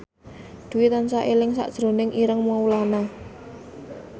Dwi tansah eling sakjroning Ireng Maulana